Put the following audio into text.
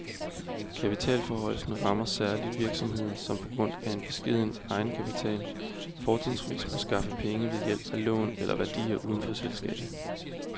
Kapitalforhøjelsen rammer særlig virksomheder, som på grund af en beskeden egenkapital fortrinsvis må skaffe pengene ved hjælp af lån eller værdier uden for selskabet.